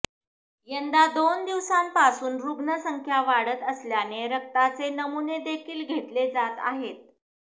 यंदा दोन दिवसांपासून रुग्णसंख्या वाढत असल्याने रक्ताचे नमुनेदेखील घेतले जात आहेत